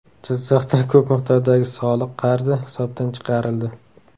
Jizzaxda ko‘p miqdordagi soliq qarzi hisobdan chiqarildi.